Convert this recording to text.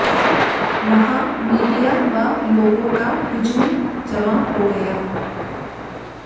वहां मीडिया व लोगों का हुजूम जमा हो गया